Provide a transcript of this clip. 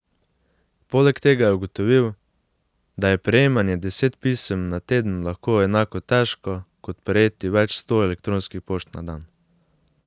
Poleg tega je ugotovil, da je prejemanje deset pisem na teden lahko enako težko kot prejeti več sto elektronskih pošt na dan.